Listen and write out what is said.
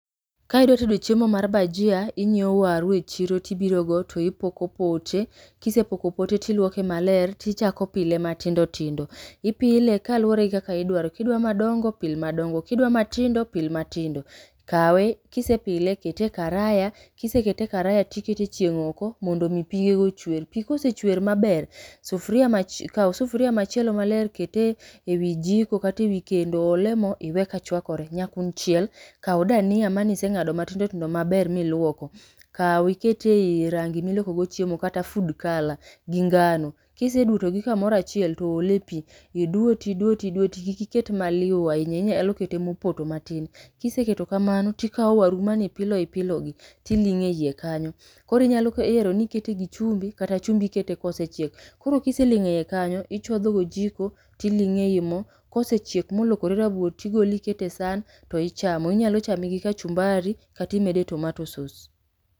Ka idwa tedo chiemo mar bhajia, inyieo waru e chiro to ibiro go to ipoko pote, kisepoko pote, tiluoke maler tichako pile matindo tindo. Ipile ka luwore gi kaka idwaro ka idwaro madongo pil madongo kidwa matindo pil matindo , kawe kise pile kete e karaya, kisekete e karaya tikete e chieng' oko mondo mi pige go ochwer, pi ka osechwer maber, sufria machie kau sufria machielo maler ket ewi jiko kata ewi kendo, ole mo iwe ka chwakore. Nyakuny chiel, kau dania mane iseng'ado matindo tindo maber miluoko. Kau iket ei rangi ma iloko go chiemo kata food colour gi ngano. Kiseluto gi kamoro achiel to ole pi, tiduwe tiduwe tiduwe to kik iket maliu ahinya inyalo kete mopoto matin. Kiseketo kamano, tikao waru mane ipilo ipilo gi, tiling'e ei kanyo. Koro inyalo ero ni ikete gi chumbi kata chumbi ikete ka osechiek. Koro ka iseling'o ei kanyo ichodho gi ojiko, tiling'e ei mo, kosechiek ma olokore rabuor to igolo to iketo e san to ichamo. Inyalo chame gi kachumbari kata imede tomatoe sauce.